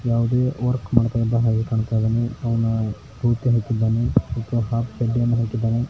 ಯಾವುದೇ ವರ್ಕ್ ಮಾಡ್ತಾ ಇರೋ ಹಾಗೆ ಕಂತ ಇದ್ದಾನೆ ಅವ್ನ ಹಾಕಿದ್ದಾನೆ .